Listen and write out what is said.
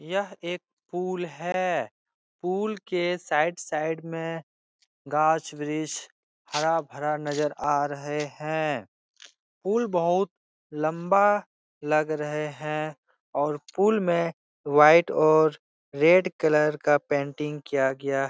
यह एक पुल है पुल के साइड साइड में घांछ ब्रिक्ष हरा-भरा नजर आ रहे हैं पुल बहोत लम्बा लग रहे हैं और पुल में वाइट और रेड कलर का पेंटिंग किया गया --